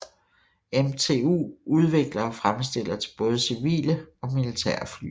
MTU udvikler og fremstiller til både civile og militære fly